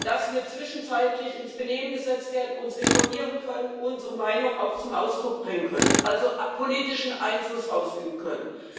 dass wir zwischenzeitlich ins Benehmen gesetzt werden, uns informieren können, unsere Meinung auch zum Ausdruck bringen können, also politischen Einfluss ausüben können.